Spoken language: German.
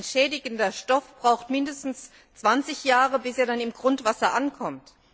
Ein schädigender Stoff braucht mindestens 20 Jahre, bis er im Grundwasser ankommt.